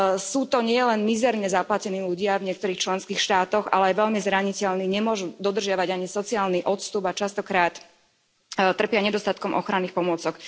Sú to nielen mizerne zaplatení ľudia v niektorých členských štátoch, ale aj veľmi zraniteľní, nemôžu dodržiavať ani sociálny odstup a častokrát trpia nedostatkom ochranných pomôcok.